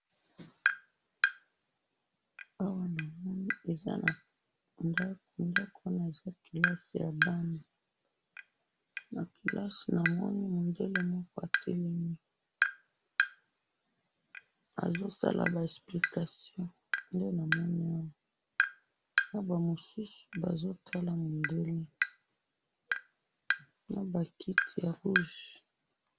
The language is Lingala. awa namoni eza na ndakou ndakou wana eza kelasi ya bana na kelasi namoni moundele moko atelemi azo sala ba explication nde namoni awa naba mosusu bazo tala mundela naba kiti ya rouge